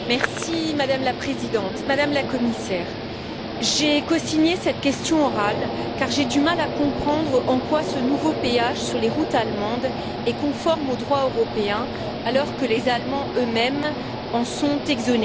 Madame la Présidente, Madame la Commissaire, j'ai cosigné cette question orale, car j'ai du mal à comprendre en quoi ce nouveau péage sur les routes allemandes est conforme au droit européen, alors que les Allemands eux mêmes en sont exonérés.